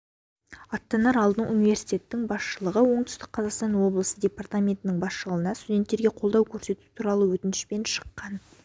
аттанар алдын университеттің басшылығы оңтүстік қазақстан облысы департаментінің басшылығына студенттерге қолдау көрсету туралы өтінішпен шыққан